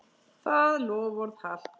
Það loforð halt.